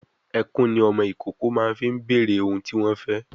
Ẹkùn ni ọmọ ìkókó máa ń fi bèrè ohun tí wọ́n fẹ́